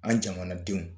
An jamanadenw